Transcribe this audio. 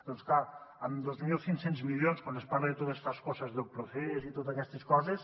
doncs clar amb dos mil cinc cents milions quan es parla de todas estas cosas del procés i totes aquestes coses